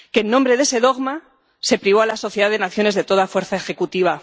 que, en nombre de ese dogma, se privó a la Sociedad de Naciones de toda fuerza ejecutiva.